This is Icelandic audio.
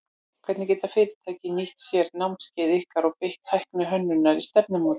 Hvernig geta fyrirtæki nýtt sér námskeið ykkar og beitt tækni hönnunar í stefnumótun?